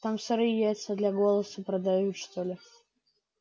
там сырые яйца для голоса продают что ли